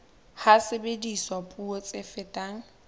ha sebediswa puo tse fetang